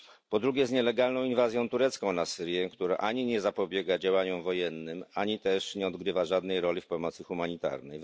Po drugie z nielegalną inwazją turecką na Syrię, która ani nie zapobiega działaniom wojennym, ani też nie odgrywa żadnej roli w pomocy humanitarnej.